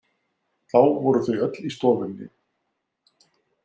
Þá voru þau öll í stofunni.